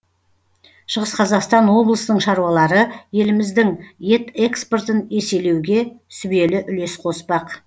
шығыс қазақстан облысының шаруалары еліміздің ет экспортын еселеуге сүбелі үлес қоспақ